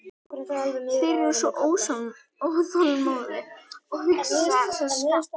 Þeir eru svo óþolinmóðir og hugsa svo skammt.